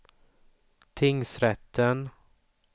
tingsrätten